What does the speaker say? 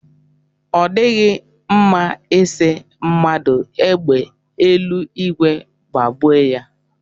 Ọ dịghị mma ị sị mmadụ égbè eluigwe gbagbue ya.